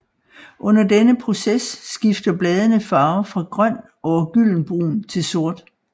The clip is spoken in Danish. Under denne proces skifter bladene farve fra grøn over gyldenbrun til sort